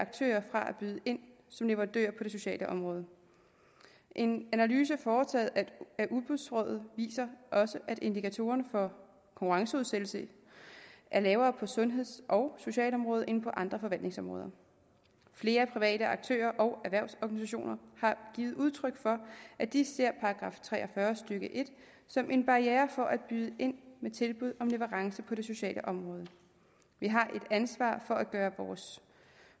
byde ind som leverandør på det sociale område en analyse foretaget af udbudsrådet viser også at indikatorerne for konkurrenceudsættelse er lavere på sundheds og socialområdet end på andre forretningsområder flere private aktører og erhvervsorganisationer har givet udtryk for at de ser § tre og fyrre stykke en som en barriere for at byde ind med tilbud om leverance på det sociale område vi har et ansvar for at gøre